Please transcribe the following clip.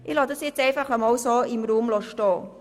Ich lasse dies einmal so im Raum stehen.